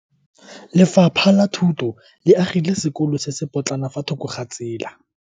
Lefapha la Thuto le agile sekolo se se potlana fa thoko ga tsela.